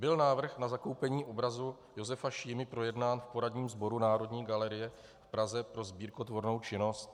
Byl návrh na zakoupení obrazu Josefa Šímy projednán v poradním sboru Národní galerie v Praze pro sbírkotvornou činnost?